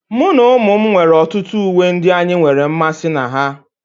Mụ na ụmụ m nwere ọtụtụ uwe ndị anyị nwere mmasị na ha